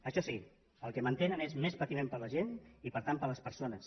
això sí el que mantenen és més patiment per a la gent i per tant per a les persones